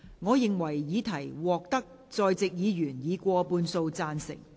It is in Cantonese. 我認為議題獲得在席議員以過半數贊成。